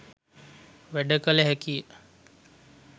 වැඩ කළ හැකියි.